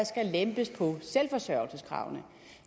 skal lempes på selvforsørgelseskravene